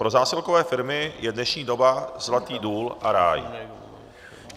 Pro zásilkové firmy je dnešní doba zlatý důl a ráj.